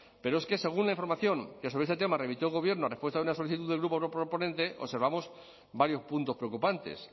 pero es que según la información que sobre este tema remitió el gobierno a respuesta de una solicitud del grupo proponente observamos varios puntos preocupantes